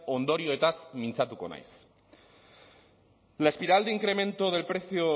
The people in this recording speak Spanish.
ondorioez mintzatuko naiz la espiral de incremento del precio